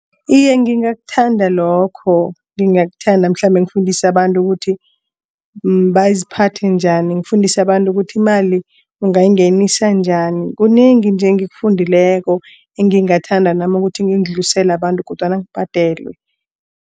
Iye, ngingathanda lokho ngingathanda mhlambe ngifundise abantu ukuthi baziphathe njani. Ngifundise abantu ukuthi imali ungayingenisa njani kunengi nje ekufundileko. Engingathanda nama ukuthi ngikudlulisele abantu kodwana ngibhadelwe.